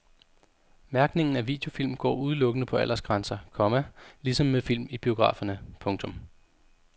Mærkningen af videofilm går udelukkende på aldersgrænser, komma ligesom med film i biograferne. punktum